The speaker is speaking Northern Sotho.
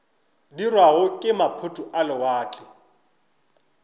dirwago ke maphoto a lewatle